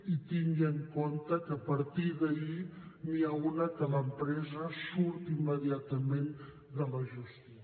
i tingui en compte que a partir d’ahir n’hi ha una en què l’empresa surt immediatament de la gestió